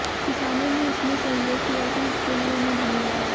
किसानों ने इसमें सहयोग किया इसके लिए उन्हें धन्यवाद